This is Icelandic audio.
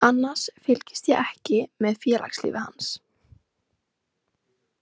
Annars fylgist ég ekki með félagslífi hans.